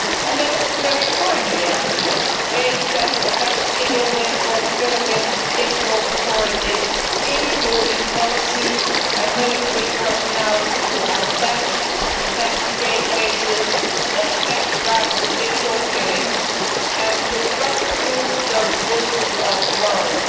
This is a very timely action aimed at capacity building for the Philippines judicial authorities, including police and military personnel, to help them investigate cases of extrajudicial killings and to prosecute those guilty of murder.